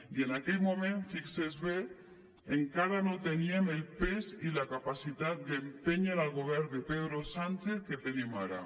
i en aquell moment fixi s’hi bé encara no teníem el pes i la capacitat d’empènyer el govern de pedro sánchez que tenim ara